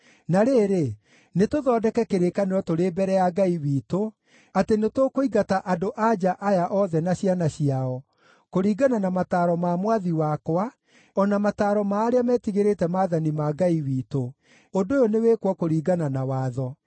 Na rĩrĩ, nĩtũthondeke kĩrĩkanĩro tũrĩ mbere ya Ngai witũ atĩ nĩtũkũingata andũ-a-nja aya othe na ciana ciao, kũringana na mataaro ma mwathi wakwa, o na mataaro ma arĩa metigĩrĩte maathani ma Ngai witũ. Ũndũ ũyũ nĩwĩkwo kũringana na Watho.